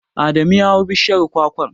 Adamu ya hau bishiyar kwakwar.